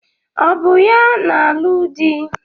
Ọ bụ ya na-alụ di?